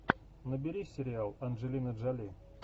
набери сериал анджелина джоли